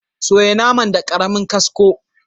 Soya naman da karemin kasko.